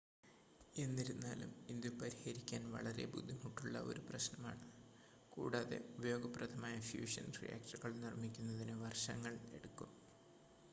എന്നിരുന്നാലും ഇത് പരിഹരിക്കാൻ വളരെ ബുദ്ധിമുട്ടുള്ള ഒരു പ്രശ്നമാണ് കൂടാതെ ഉപയോഗപ്രദമായ ഫ്യൂഷൻ റിയാക്ടറുകൾ നിർമ്മിക്കുന്നതിന് വർഷങ്ങൾ എടുക്കും